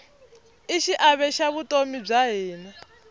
i xiave xa vutomi bya hina